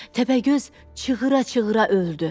Təpəgöz çığıra-çığıra öldü.